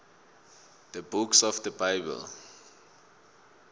the books of the bible